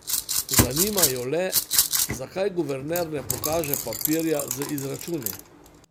Zanima jo le, zakaj guverner ne pokaže papirja z izračuni.